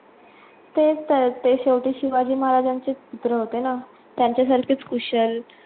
तेच तर ते शेवटी शिवाजी महाराजांचेचं पुत्र होते ना, त्यांच्या सारखेच कुशल